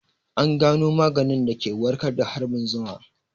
An gano maganin da ke warkar da harbin zuma